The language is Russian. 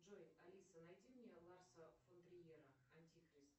джой алиса найди мне ларса фон триера антихрист